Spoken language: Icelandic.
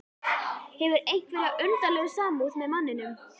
Hefur einhverja undarlega samúð með manninum.